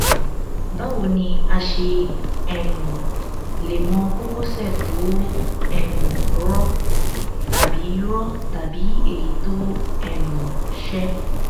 báwo ni a ṣe um lè mọ kókósẹ tó um rọ tàbí rọ tàbí èyí tó um ṣẹ